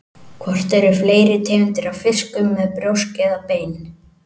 Hvort eru fleiri tegundir af fiskum með brjósk eða bein?